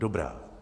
Dobrá.